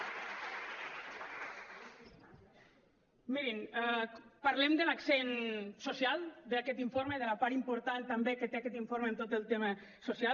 mirin parlem de l’accent social d’aquest informe de la part important també que té aquest informe en tot el tema social